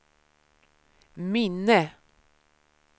minne